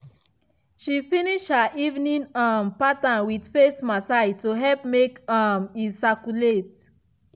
she finish her evening um pattern with face massage to help make um e circulate.